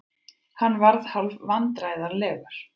Hann varð hálfvandræðalegur.